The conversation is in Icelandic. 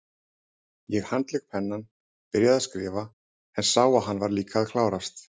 Ég handlék pennann, byrjaði að skrifa, en sá að hann var líka að klárast.